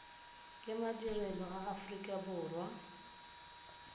ke madirelo a aforika borwa